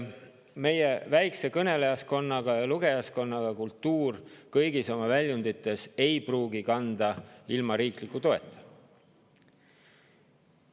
Meie väikese kõnelejaskonnaga ja lugejaskonnaga kultuur kõigis oma väljundites ei pruugi ilma riikliku toeta kanda.